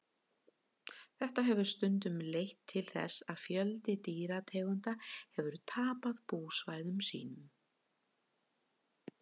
þetta hefur stundum leitt til þess að fjöldi dýrategunda hefur tapað búsvæðum sínum